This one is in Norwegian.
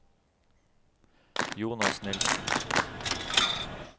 Jonas Nielsen